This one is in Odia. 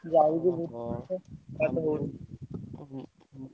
ଯାଉଛି